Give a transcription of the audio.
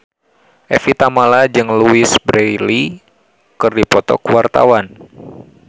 Evie Tamala jeung Louise Brealey keur dipoto ku wartawan